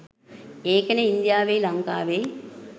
ඒකනෙ ඉංදියාවෙයි ලංකාවෙයි